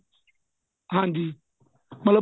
ਹਾਂਜੀ ਮਤਲਬ